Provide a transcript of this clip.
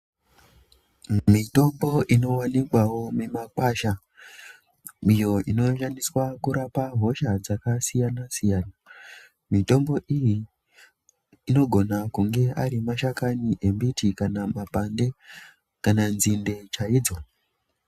Mitombo inoonekwao mumikwasha iyo inoshandiswa kurapa hosha dzakasiyana siyana mitombo iyi inogona kunge ari mashakani embiti kana makwande kana nzinde chaidzo.